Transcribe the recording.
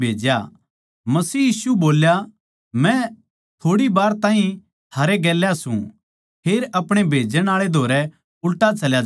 मसीह यीशु बोल्या मै थोड़ी बार ताहीं थारै गेल्या सूं फेर अपणे भेजण आळै धोरै उल्टा चल्या जाऊँगा